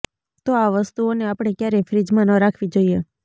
તો આ વસ્તુઓને આપણે ક્યારેય ફ્રીઝમાં ન રાખવી જોઈએ